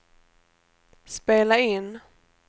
spela in